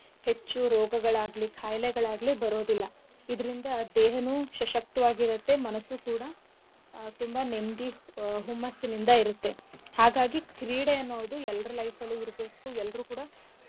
ಹೆಚ್ಚು ರೋಗಗಳಾಗ್ಲಿ ಖಾಯ್ಲೆಗಳಾಗ್ಲಿ ಬರೋದಿಲ್ಲ ಇದ್ರಿಂದ ದೇಹನೂ ಶಶಕ್ತವಾಗಿ ಇರತ್ತೆ ಮನಸ್ಸು ಕೂಡ ಆಹ್ ತುಂಬಾ ನೆಮ್ದಿ ಆಹ್ ಹುಮ್ಮಸ್ಸಿನಿಂದ ಇರತ್ತೆ ಹಾಗಾಗಿ ಕ್ರೀಡೆ ಅನ್ನೋದು ಎಲ್ರ life ಅಲ್ಲೂ ಇರ್ಬೇಕು ಎಲ್ರೂ ಕೂಡ.